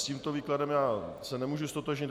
S tímto výkladem já se nemohu ztotožnit.